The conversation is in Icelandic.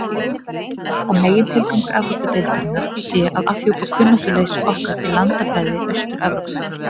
Ég held að megintilgangur Evrópudeildarinnar sé að afhjúpa kunnáttuleysi okkar í landafræði Austur-Evrópu.